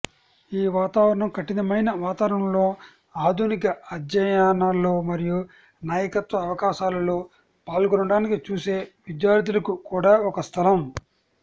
ఈ వాతావరణం కఠినమైన వాతావరణంలో ఆధునిక అధ్యయనాల్లో మరియు నాయకత్వ అవకాశాలలో పాల్గొనడానికి చూసే విద్యార్థులకు కూడా ఒక స్థలం